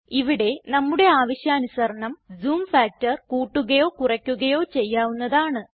ഇവിടെ നമ്മുടെ ആവശ്യാനുസരണം ജൂം ഫാക്ടർ കൂട്ടുകയോ കുറയ്ക്കുകയോ ചെയ്യാവുന്നതാണ്